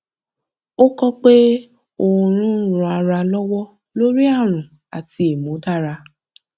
ó kọ pé oorun ń ran ara lọwọ lórí ààrùn àti ìmúdára